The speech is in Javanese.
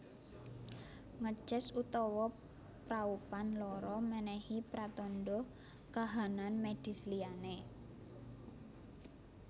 Ngeces utawa praupan lara menehi pratandha kahanan medis liyane